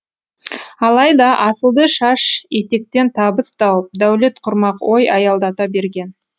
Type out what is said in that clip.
алайда асылды шаш етектен табыс тауып дәулет құрмақ ой аялдата берген